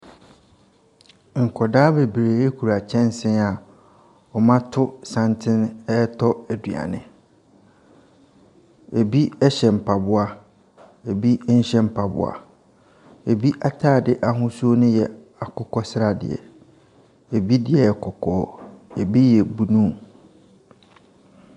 Nkwadaa bebree kura kyɛnsee a wɔato santene retɔ aduane. Ɛbi hyɛ mpaboa, ɛbi nhyɛ mpaboa. Ɛbi atade ahosuo npo yɛ akokɔsradeɛ, ɛbi deɛ yɛ kɔkɔɔ, ɛbi yɛ blue.